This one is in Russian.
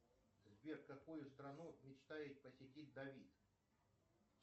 сбер какую страну мечтает посетить давид